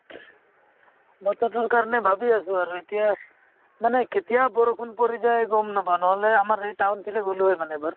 বতৰতোৰ কাৰণে ভাবি আছো আৰু এতিয়া মানে কেতিয়া বৰষুণ পৰি যায় গম নাপাওঁ নহ'লে আমাৰ এই town ফালে গ'লো হৈ মানে এবাৰ